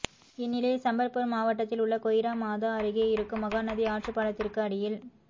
இந்நிலையில் சம்பல்பூர் மாவட்டத்தில் உள்ள கொய்ரா மாதா அருகே இருக்கும் மகாநதி ஆற்றுப்பாலத்திற்கு அடியில்